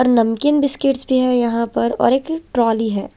और नमकीन बिस्किट भी हैं यहाँ पर और एक ट्रोली है।